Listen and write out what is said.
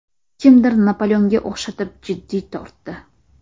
Kimdir Napoleonga o‘xshatib, jiddiy tortdi.